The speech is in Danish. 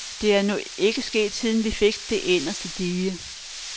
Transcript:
Det er nu ikke sket, siden vi fik det inderste dige.